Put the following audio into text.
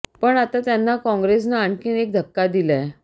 पण आता त्यांना काँग्रेसनं आणखी एक धक्का दिलाय